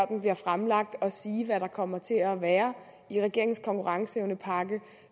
den bliver fremlagt og sige hvad der kommer til at være i regeringens konkurrenceevnepakke